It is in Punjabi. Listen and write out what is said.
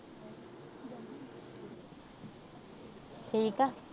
ਠੀਕ ਆ।